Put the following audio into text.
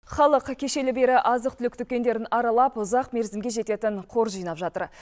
халық кешелі бері азық түлік дүкендерін аралап ұзақ мерзімге жететін қор жинап жатыр